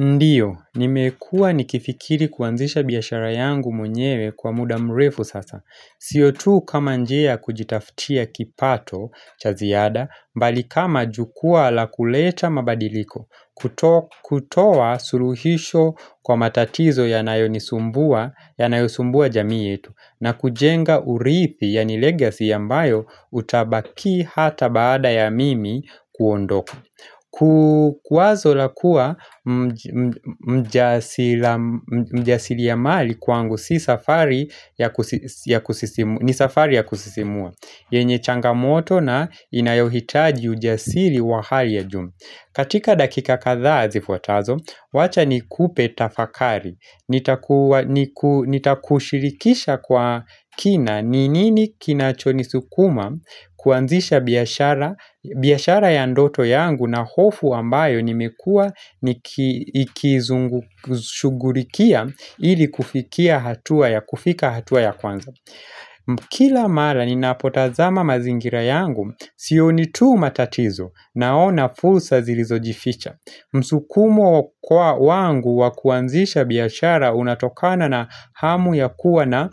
Ndiyo, nimekua nikifikiri kuanzisha biashara yangu mwenyewe kwa muda mrefu sasa. Siyo tu kama njia ya kujitaftia kipato cha ziada, mbali kama jukwaa la kuleta mabadiliko, kutoa suluhisho kwa matatizo yanayo nisumbua, ya nayosumbua jamii yetu, na kujenga urithi yani legasi ambayo utabakii hata baada ya mimi kuondoka. Wazo lakua mjasili ya mali kwangu si safari ni safari ya kusisimua yenye changamoto na inayohitaji ujasili wa hali ya juu katika dakika kadhaa zifuatazo, wacha ni kupe tafakari Nitakushirikisha kwa kina ni nini kinachonisukuma kuanzisha biashara ya ndoto yangu na hofu ambayo nimekua nikizungu shugurikia ili kufikia hatua ya kwanza Kila mara ni napotazama mazingira yangu Sioni tuu matatizo naona fusa zilizojificha msukumo kwa wangu wakuanzisha biyashara Unatokana na hamu ya kuwa na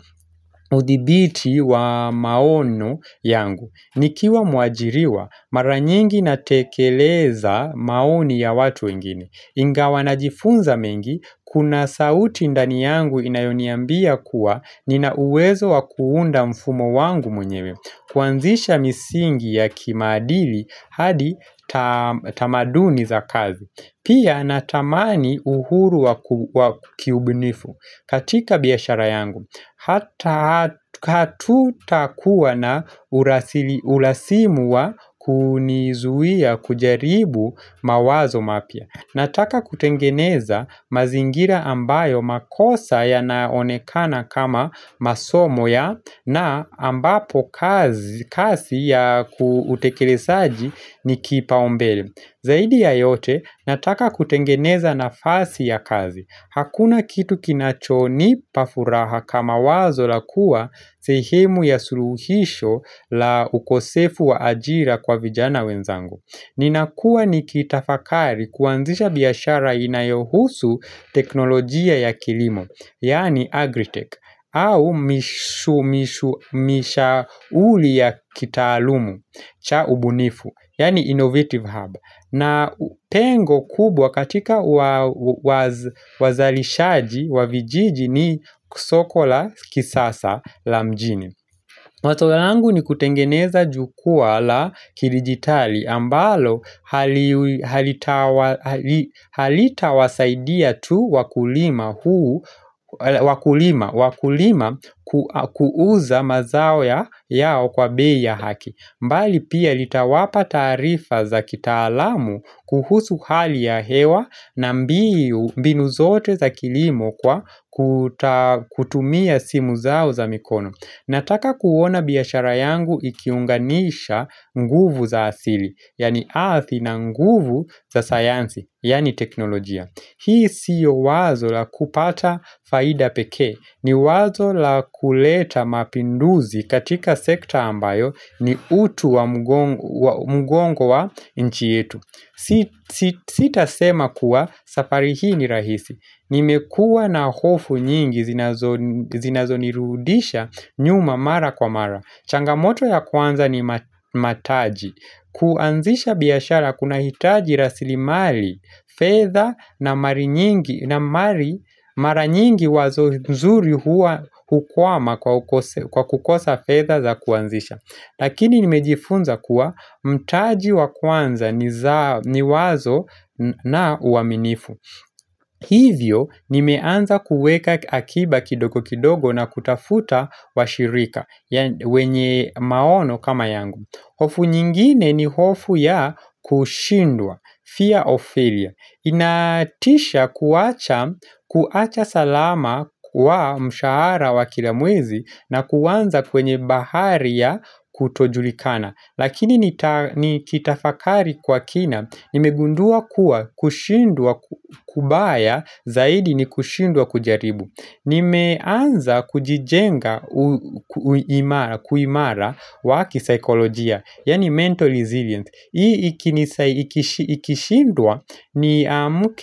udibiti wa maono yangu Nikiwa muajiriwa mara nyingi natekeleza maoni ya watu wengine Ingawa na jifunza mengi Kuna sauti ndani yangu inayoniambia kuwa Nina uwezo wa kuunda mfumo wangu mwenyewe kuanzisha misingi ya kimaadili hadi tamaduni za kazi Pia natamani uhuru wa kiubunifu katika biashara yangu hatu takua na urasimu wa kunizuia kujaribu mawazo mapya Nataka kutengeneza mazingira ambayo makosa ya naonekana kama masomo ya na ambapo kazi kazi ya kutekelesaji ni kipaumbele Zaidi ya yote nataka kutengeneza na fasi ya kazi Hakuna kitu kinachoni pafuraha kama wazo la kuwa sehemu ya suluhisho la ukosefu wa ajira kwa vijana wenzangu Ninakua nikitafakari kuanzisha biashara inayohusu teknolojia ya kilimo, yani Agritech, au mishu mishu misha uli ya kitaalumu cha ubunifu, yani Innovative Hub. Na pengo kubwa katika wazalishaji wavijiji ni soko la kisasa la mjini. Wazo langu ni kutengeneza jukwaa la kidijitali ambalo haliu hali halita wasaidia tu wakulima wakulima kuuza mazao yao kwa bei ya haki mbali pia litawapa tarifa za kitaalamu kuhusu hali ya hewa na mbiu mbinu zote za kilimo kwa kutumia simu zao za mikono Nataka kuona biashara yangu ikiunganisha nguvu za asili, yani athi na nguvu za sayansi, yani teknolojia. Hii siyo wazo la kupata faida pekee, ni wazo la kuleta mapinduzi katika sekta ambayo ni utu wa mgongo wa nchi yetu. Sita sema kuwa safari hii ni rahisi Nimekua na hofu nyingi zinazo nirudisha nyuma mara kwa mara changamoto ya kwanza ni mataji kuanzisha biashara kuna hitaji rasilimali, fedha na mari nyingi na mari, mara nyingi wazo mzuri hua hukwama kwa kukosa fedha za kuanzisha Lakini nimejifunza kuwa mtaji wa kwanza ni wazo na uaminifu Hivyo nimeanza kuweka akiba kidogo kidogo na kutafuta wa shirika wenye maono kama yangu hofu nyingine ni hofu ya kushindwa Fear of failure Inatisha kuacha salama kwa mshahara wa kila mwezi na kuwanza kwenye bahari ya kutojulikana Lakini ni kitafakari kwa kina Nimegundua kuwa kushindwa kubaya zaidi ni kushindwa kujaribu Nimeanza kujijenga kuimara wa ki psycholojia Yani mental resilience Hii ikishindwa ni amke.